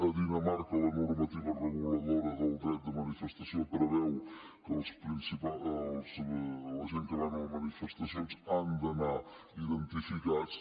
a dinamarca la normativa reguladora del dret de manifestació preveu que la gent que van a les manifestacions han d’anar identificats